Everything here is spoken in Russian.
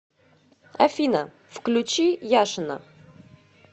афина включи яшина